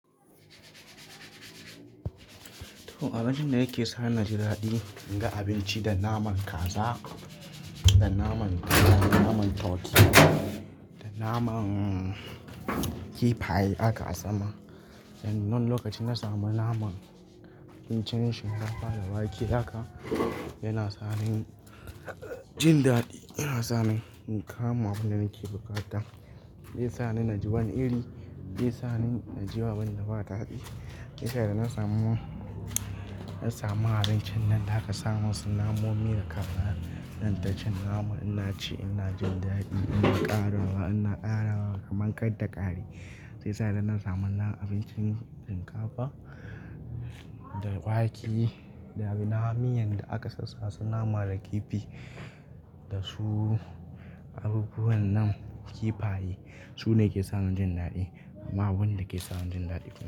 To abincin da yake sa ni jin daɗi, in ga abinci da naman kaza da naman akiya, naman turkey, da naman kifaye aka sama. Nan lokaci na samu naman abincin shinkafa da wake haka yana sa ni jin daɗi, yana sa ni in kama abun da nake buƙata. Zai sa ni na ji wani iri, zai sa ni na ji abun ba daɗi. Sai da na samu, na samu harin can nan, daga samo wasu namomin da kaza dan ta cin nama, ina ci ina jin daɗi, ina ƙarawa ina ƙara kama ƙar ta ƙare. Sai sa ida na samu na abincin shinkafa da wake da miyan da aka sassaka suna nama da kifi da su abubuwan nan kifaye. Su ne ke sa ni jin daɗi, amma wani da ke sa ni jin daɗi kuma.